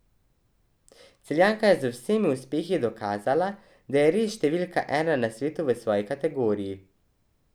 Celjanka je z vsemi uspehi dokazala, da je res številka ena na svetu v svoji kategoriji.